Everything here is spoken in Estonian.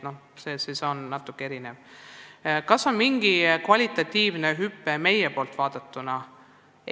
Kas tegu on mingi kvalitatiivse hüppega meie poolt vaadatuna?